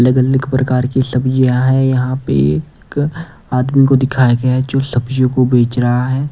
अलग अलग प्रकार की सब्जियां है यहां पे एक आदमी को दिखाया गया जो सब्जियों को बेच रहा है।